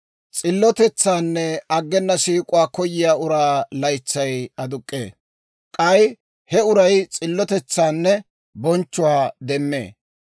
S'illotetsaanne aggena siik'uwaa koyiyaa uraa laytsay aduk'k'ee; k'ay he uray s'illotetsaanne bonchchuwaa demmee.